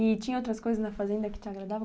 E tinha outras coisas na fazenda que te agradavam?